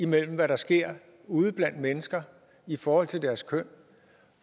mellem hvad der sker ude blandt mennesker i forhold til deres køn